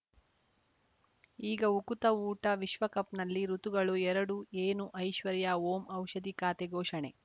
ಈಗ ಉಕುತ ಊಟ ವಿಶ್ವಕಪ್‌ನಲ್ಲಿ ಋತುಗಳು ಎರಡು ಏನು ಐಶ್ವರ್ಯಾ ಓಂ ಔಷಧಿ ಖಾತೆ ಘೋಷಣೆ